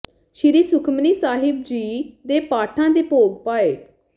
ਸ੍ਰੀ ਸੁਖਮਨੀ ਸਾਹਿਬ ਜੀ ਦੇ ਪਾਠਾਂ ਦੇ ਭੋਗ ਪਾਏ